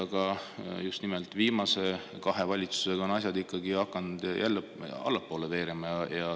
Aga just nimelt viimase kahe valitsuse ajal on asjad ikkagi hakanud jälle allapoole veerema.